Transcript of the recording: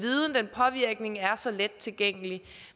påvirkning er så let tilgængelig